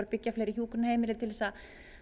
byggja fleiri hjúkrunarheimili til að